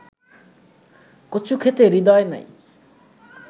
কচুক্ষেতে হৃদয় নাই